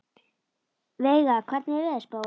Veiga, hvernig er veðurspáin?